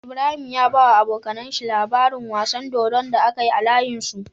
Ibrahim ya bawa abokAnan shi labarin wasan dodon da akayi a layin su